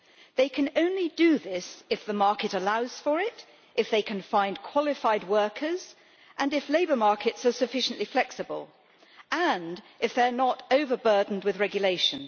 They can only do this if the market allows for it, if they can find qualified workers, if labour markets are sufficiently flexible and if they are not over burdened with regulation.